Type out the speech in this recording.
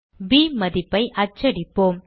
ப் மதிப்பை அச்சடிப்போம்